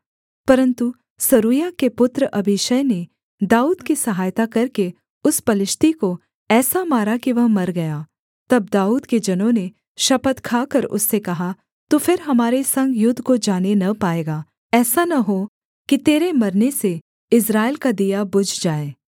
परन्तु सरूयाह के पुत्र अबीशै ने दाऊद की सहायता करके उस पलिश्ती को ऐसा मारा कि वह मर गया तब दाऊद के जनों ने शपथ खाकर उससे कहा तू फिर हमारे संग युद्ध को जाने न पाएगा ऐसा न हो कि तेरे मरने से इस्राएल का दिया बुझ जाए